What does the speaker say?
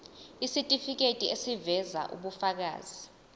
isitifiketi eziveza ubufakazi